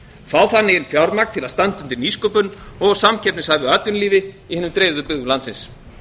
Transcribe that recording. fá þannig fjármagn til að standa undir nýsköpun og samkeppnishæfu atvinnulífi í hinum dreifðu byggðum landsins